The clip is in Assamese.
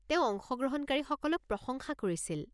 তেওঁ অংশগ্ৰহণকাৰীসকলক প্ৰশংসা কৰিছিল।